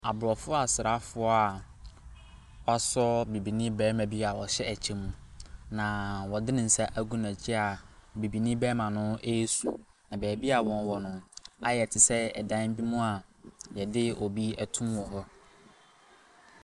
Abrɔfo asrafoɔ a wɔasɔ bibinii barima bi a wɔahyɛ ɛkyɛ mu na wɔde ne nsa agu n'akyi a, bibinii barima ɛresu. Na baabi ɔwɔ no, ayɛ te sɛ dan bi mua yɛde obi ɛtum wɔ hɔ.